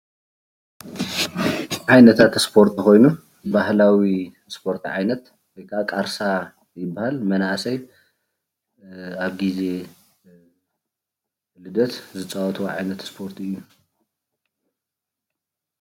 ዓይነታት ስፖርቲ ኮይኑ ፤ባህላዊ ስፓርት ዓይነት ወይ ካዓ ቃርሳ ይበሃል። መናእሰይ ኣብ ግዜ ልደት ዝፃወትዎ ዓይነት ስፖርት እዩ።